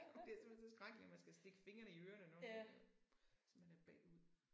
Det simpelthen så skrækkeligt at man skal stikke fingrene i ørerne når nu at hvis man er bagud